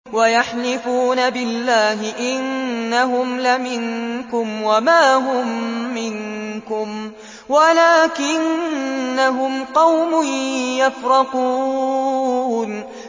وَيَحْلِفُونَ بِاللَّهِ إِنَّهُمْ لَمِنكُمْ وَمَا هُم مِّنكُمْ وَلَٰكِنَّهُمْ قَوْمٌ يَفْرَقُونَ